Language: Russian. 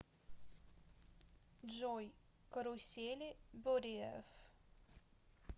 джой карусели бодиев